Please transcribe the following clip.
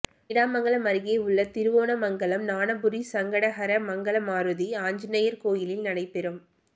நீடாமங்கலம் அருகேயுள்ள திருவோணமங்கலம் ஞானபுரி சங்கடஹர மங்களமாருதி ஆஞ்சநேயா் கோயிலில் நடைபெறும்